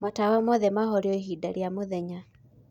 matawa mothe mahorio ĩhĩnda rĩa mũthenya